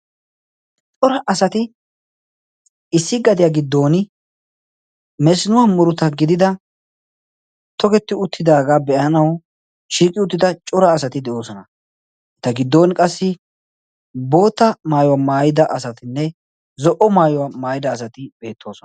cora asati issi gadiyaa giddon mesinuwaa muruta gidida togetti uttidaagaa be7anau shiiqi uttida cora asati de7oosona eta giddon qassi bootta maayuwaa maayida asatinne zo77o maayuwaa maayida asati beettoosona